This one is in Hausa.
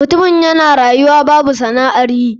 Mutumin yana rayuwa babu sana'an yi.